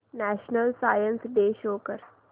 national science day show कर